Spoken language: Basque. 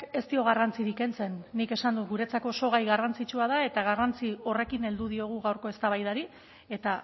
ez dio garrantzirik kentzen nik esan dut guretzako oso gai garrantzitsua da eta garrantzi horrekin heldu diogu gaurko eztabaidari eta